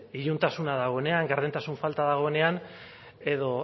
iluntasuna dagoenean gardentasun falta dagoenean edo